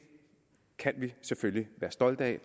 kan vi selvfølgelig være stolte